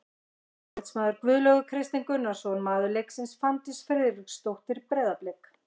Eftirlitsmaður: Guðlaugur Kristinn Gunnarsson Maður leiksins: Fanndís Friðriksdóttir, Breiðablik.